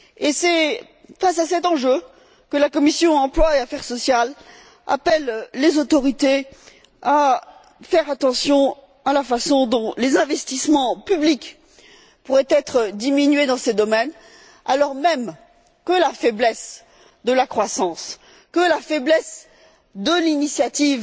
C'est face à cet enjeu que la commission de l'emploi et des affaires sociales appelle les autorités à faire attention à la façon dont les investissements publics pourraient être diminués dans ces domaines, alors même que la faiblesse de la croissance, que la faiblesse de l'initiative